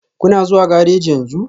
Kuna zuwa gareji yanzu?